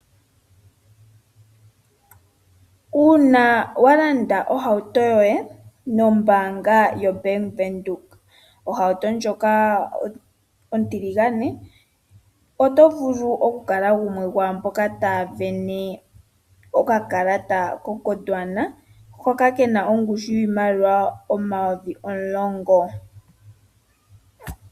Uuna walanda ohauto yoye nombaanga yoBank Windhoek, ohauto ndjoka ontiligane, oto vulu okukala gumwe gomwaamboka taya sindana okakalata koGwodwana, hoka kena ongushu yiimaliwa omayovi omulongo.